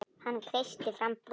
Hann kreisti fram bros.